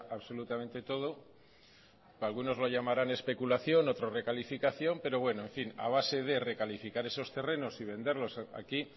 absolutamente todo que algunos lo llamarán especulación otros recalificación pero bueno a base de recalificar esos terrenos y venderlos aquí